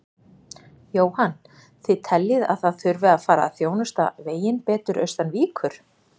Jóhann: Þið teljið að það þurfi að fara að þjónusta veginn betur austan Víkur?